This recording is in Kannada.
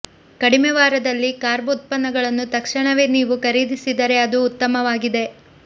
ಕಡಿಮೆ ವಾರದಲ್ಲಿ ಕಾರ್ಬ್ ಉತ್ಪನ್ನಗಳನ್ನು ತಕ್ಷಣವೇ ನೀವು ಖರೀದಿಸಿದರೆ ಅದು ಉತ್ತಮವಾಗಿದೆ